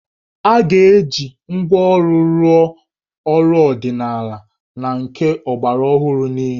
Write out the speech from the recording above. A ga-eji ngwá ọrụ rụọ ọrụ ọdịnala na nke ọgbaraọhụrụ niile